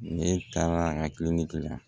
Ne taara a kiliniki la